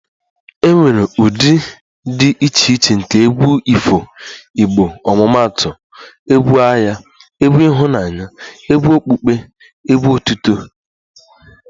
E nwere ụdị dị iche iche nke egwu ifo igbo omumaatu egwu agha, egwu ịhụnanya ,egwu okpukpe, egwu otuto etc